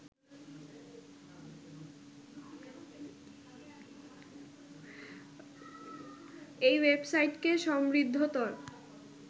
এই ওয়েবসাইটকে সমৃদ্ধতর